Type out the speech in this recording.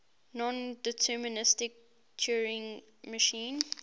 nondeterministic turing machine